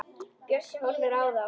Bjössi horfir á þá.